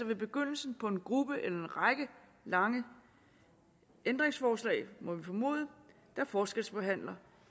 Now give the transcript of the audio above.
ved begyndelsen på en gruppe eller en række lange ændringsforslag må vi formode der forskelsbehandler